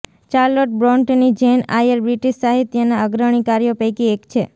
Charlotte બ્રોંટની Jane Eyre British સાહિત્યના અગ્રણી કાર્યો પૈકી એક છે